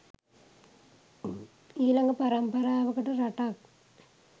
ඊලඟ පරම්පරාවකට රටක්